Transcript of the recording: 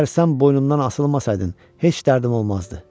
Əgər sən boynundan asılmasaydın, heç dərdim olmazdı.